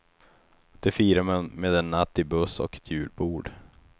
Det firar man med en natt i buss och ett julbord.